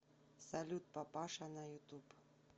салют папаша на ютуб